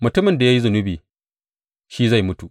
Mutumin da ya yi zunubi shi zai mutu.